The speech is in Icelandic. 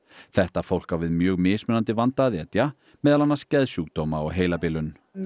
þetta fólk á við mjög mismunandi vanda að etja meðal annars geðsjúkdóma og heilabilun